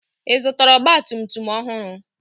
Ị zụtara ọgba tum tum ọhụrụ?